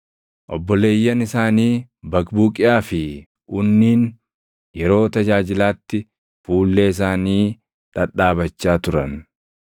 Obboleeyyan isaanii Baqbuqiyaa fi Unniin yeroo tajaajilaatti fuullee isaanii dhadhaabachaa turan.